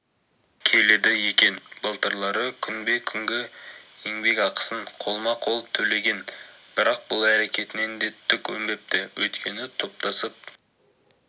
келеді екен былтырлары күнбе-күнгі еңбекақысын қолма-қол төлеген бірақ бұл әрекетінен де түк өнбепті өйткені топтасып